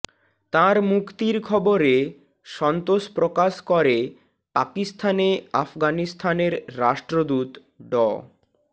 তাঁর মুক্তির খবরে সন্তোষ প্রকাশ করে পাকিস্তানে আফগানিস্তানের রাষ্ট্রদূত ড